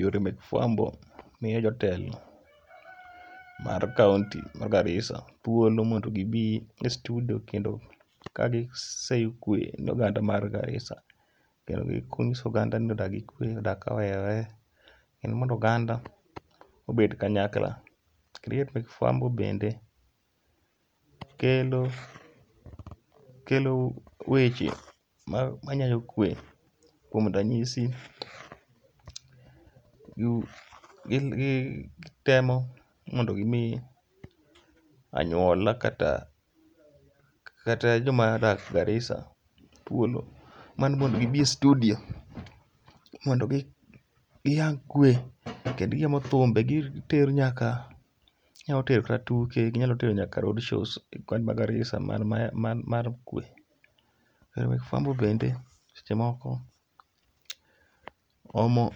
Yore mek fuambo miyo jotelo mar kaonti ma Garissa thuolo mondo gibi e studio kendo ka gi seyo kwe ne oganda mar Garissa. Kendo ging'iso oganda ni odag gi kwe, odag ka oherore kendo mondo oganda obed kanyakla. Kendi ng'e ni gik fwambo bende kelo weche ma nyayo kwe, kuom ranyisi gi temo mondo gimi anyuola kata joma odak Garissa thuolo mar mondo gibi e studio mondo giyang kwe. Kendo giomo thumbe gitero nyaka, ginyalo tero kata tuke, ginyalo tero nyaka roadshows e kaonti ma Garissa mar mar kwe. Ero mek fwambo bende seche moko omo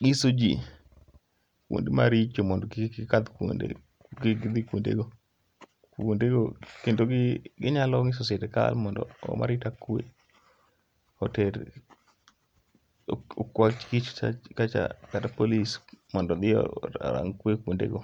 ng'iso ji kuonde maricho mondo kik gikadh kuonde kik gidhi kuonde go. Kendo gi ginyalo ng'iso sirikal mondo oom arita kwe, oter okwa kich kacha kata polis mondo odhi arang' kwe kuonde go.